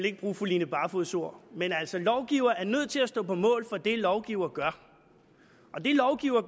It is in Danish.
ikke bruge fru line barfods ord men altså lovgiver er nødt til at stå på mål for det lovgiver gør og det lovgiver